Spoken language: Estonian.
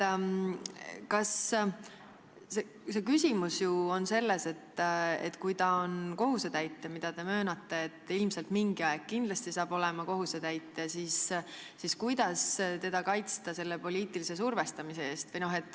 Aga küsimus on selles, et kui ta on kohusetäitja – seda te möönate, et ilmselt mingi aeg saab ta olema kohusetäitja –, siis kuidas teda kaitsta poliitilise survestamise eest.